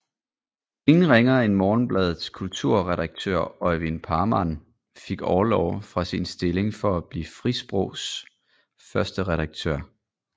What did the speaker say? Ingen ringere end Morgenbladets kulturredaktør Øivind Parmann fik orlov fra sin stilling for at blive Frisprogs første redaktør